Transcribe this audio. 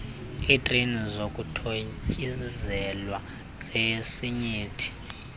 iitreyi zokuthontsizelwa zesinyithi